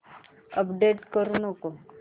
आता अपडेट करू नको